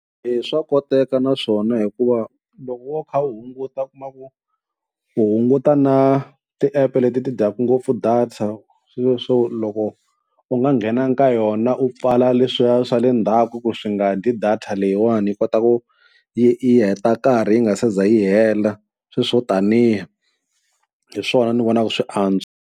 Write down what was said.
E swa koteka naswona hikuva loko wo kha u hunguta u kuma ku u hunguta na ti-app leti ti dyaka ngopfu data, sweswiya swo loko u nga nghenangi ka yona u pfala leswiya swa le ndzhaku ku swi nga dyi data leyiwani yi kota ku yi yi heta nkarhi yi nga se za yi hela sweswo taniya hi swona ni vonaku swi antswa.